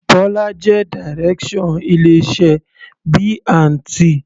Bola jẹ́ Direction ilé iṣẹ́ B&T.